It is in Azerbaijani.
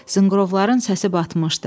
Zınqrovların səsi batmışdı.